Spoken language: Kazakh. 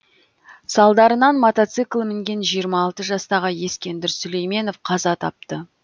салдарынан мотоцикл мінген жиырма алты жастағы ескендір сүлейменов қаза тапты